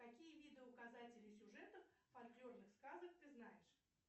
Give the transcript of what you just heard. какие виды указателей сюжетов фольклорных сказок ты знаешь